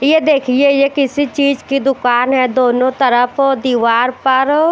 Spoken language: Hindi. ये देखिए ये किसी चीज की दुकान है दोनों तरफ दीवार पर--